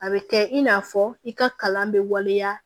A bɛ kɛ i n'a fɔ i ka kalan bɛ waleya